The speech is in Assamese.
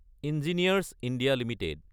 engineers India Ltd